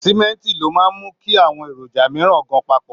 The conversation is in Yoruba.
Símẹ́ǹtì ló máa ń mú kí àwọn èròjà mìíràn gan papọ̀